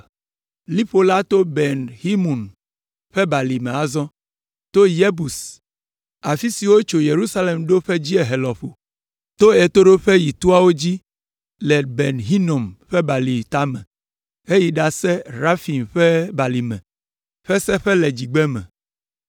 Liƒo la to Ben Hinom ƒe Balime azɔ, to Yebus, afi si wotso Yerusalem ɖo ƒe dziehe lɔƒo, to ɣetoɖoƒe yi toawo dzi le Ben Hinom ƒe Balime tame heyi ɖase ɖe Refaim ƒe balime ƒe seƒe le dzigbeme.